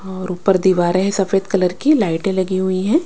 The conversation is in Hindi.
और ऊपर दीवारें हैं सफेद कलर की लाइटें लगी हुई हैं।